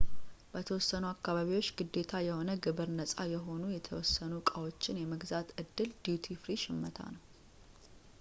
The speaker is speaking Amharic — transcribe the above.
በተወሰኑ አካባቢዎች ግዴታ የሆነ ግብር ነጻ የሆኑ የተወሰኑ ዕቃዎችን የመግዛት ዕድል ዲዩቲ ፍሪ ሽመታ ነው